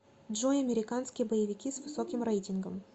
джой американские боевики с высоким реитингом